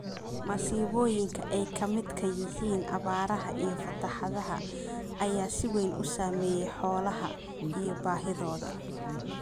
Masiibooyinka ay ka midka yihiin abaaraha iyo fatahaadaha ayaa si weyn u saameeya xoolaha iyo baahidooda.